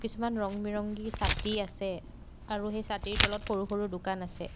কিছুমান ৰং বিৰংগি ছাতি আছে আৰু এই ছাতিৰ তলত সৰু সৰু দোকান আছে।